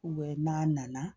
n'a nana